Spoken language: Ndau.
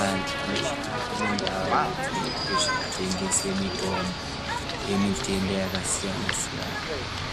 Antu anoshande mindau dzinoitwe zveku tengese mutombo ye mitenda yaka siyana siyana